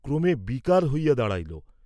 ক্রমে বিকার হইয়া দাঁড়াইল।